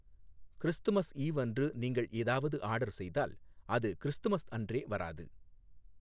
Christmas eve அன்று நீங்கள் ஏதாவது ஆர்டர் செய்தால், அது கிறிஸ்துமஸ் அன்றே வராது.